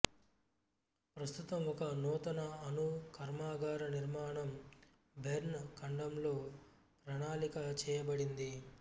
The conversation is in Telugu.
ప్రస్తుతం ఒక నూతన అణు కర్మాగార నిర్మాణం బెర్న్ ఖండంలో ప్రణాళిక చేయబడింది